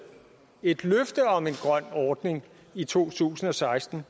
et løfte om en grøn ordning i to tusind og seksten